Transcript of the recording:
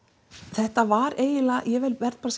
þetta var eiginlega ég verð bara